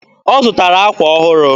Ọ zụtara akwa ọhụrụ